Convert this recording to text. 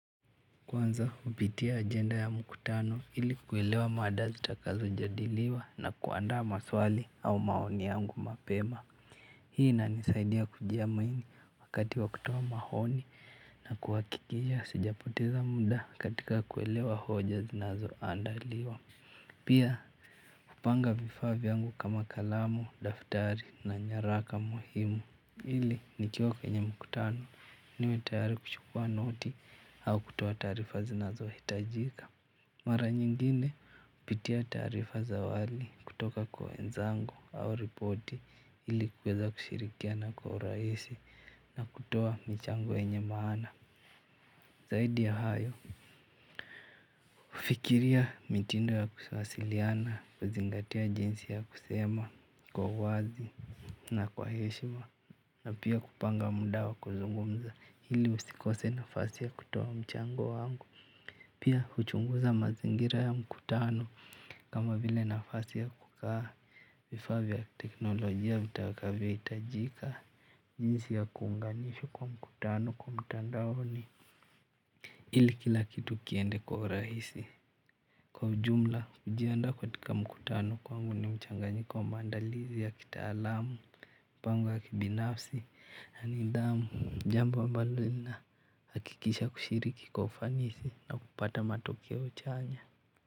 Kwanza hupitia ajenda ya mkutano ili kuelewa mada zitakazo jadiliwa na kuandaa maswali au maoni yangu mapema. Hii ina nisaidia kujiamini wakati wa kutoa mahoni na kuwakikisha sijapoteza muda katika kuelewa hoja zinazo andaliwa. Pia kupanga vifa vyangu kama kalamu, daftari na nyaraka muhimu ili nikiwa kwenye mkutano niwe tayari kuchukua noti au kutoa taarifa zinazohitajika. Mara nyingine hupitia taarifa za awali kutoka kwa wenzangu au ripoti ilikuweza kushirikiana kwa urahisi na kutoa mchango yenye maana. Zaidi ya hayo. Kufikiria mitindo ya kusawasiliana kuzingatia jinsi ya kusema kwa uwazi na kwa heshima na pia kupanga muda wa kuzungumza ili usikose nafasi ya kutoa mchango wangu. Pia kuhuchunguza mazingira ya mkutano kama vile nafasi ya kukaa vifa vya teknolojia vitakavyo hitajika. Jinsi ya kuunganishwa kwa mkutano kwa mtandaoni ili kila kitu kiende kwa rahisi. Kwa jumla hujianda katika mkutano kwangu ni mchanganyika wa mandalizi ya kitaalamu pango ya kibinafsi ya nidhamu jambo ambalo lina hakikisha kushiriki kwa ufanisi na kupata matokeo chanya.